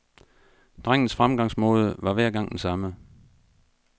Drengens fremgangsmåde var hver gang den samme.